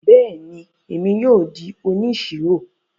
Bẹẹni, Èmí yóò di òníṣírò